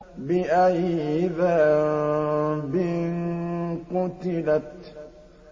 بِأَيِّ ذَنبٍ قُتِلَتْ